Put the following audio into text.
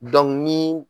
ni